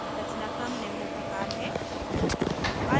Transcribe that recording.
रचनाक्रम निम्न प्रकार है: